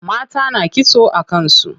Mata na kitso a kan su.